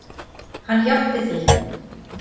Hann játti því.